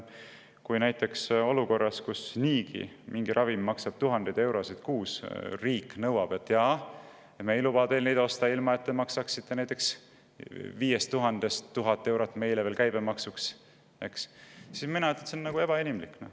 Kui näiteks olukorras, kus niigi mingi ravim maksab tuhandeid eurosid kuus, ütleb riik, et me ei luba teil neid ravimeid osta, kui te ei maksa näiteks 5000 euro pealt 1000 eurot meile käibemaksuks, siis ma ütlen, et see on ebainimlik.